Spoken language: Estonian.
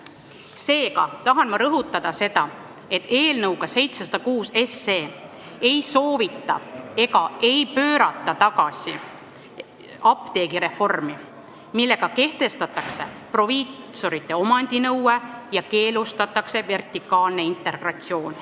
Seega tahan ma rõhutada, et eelnõuga 706 ei soovita tagasi pöörata ja ka ei pöörata tagasi apteegireformi, millega kehtestatakse proviisorite omandinõue ja keelustatakse vertikaalne integratsioon.